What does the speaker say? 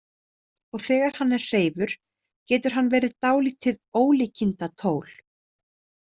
Og þegar hann er hreifur getur hann verið dálítið ólíkindatól.